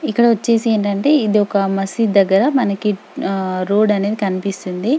ఇక్కడ వచ్చేసి ఏంటంటే ఇది ఒక మస్జీద్ దగ్గర మనకి ఆహ్ రోడ్ అనేది కనిపిస్తుంది.